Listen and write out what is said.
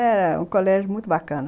Era um colégio muito bacana.